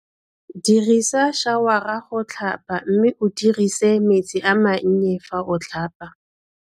Dirisa šawara go tlhapa mme o dirise metsi a mannye fa o tlhapa.